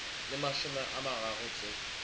le mashome a mararo tse